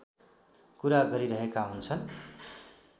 कुरा गरिररहेका हुन्छन्